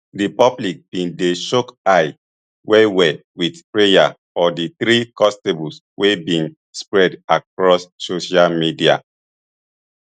di public bin dey chook eye wellwell wit prayer for di three constables wey bin spread across social media